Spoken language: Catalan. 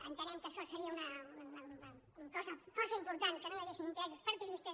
entenem que això seria una cosa força important que no hi haguessin interessos partidistes